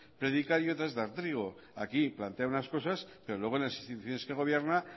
predicar y otra es dar trigo aquí plantea unas cosas pero luego en las instituciones que gobierna